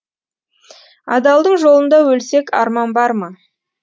адалдың жолында өлсек арман бар ма